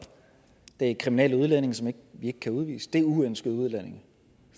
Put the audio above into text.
det er kriminelle udlændinge som vi ikke kan udvise det er uønskede udlændinge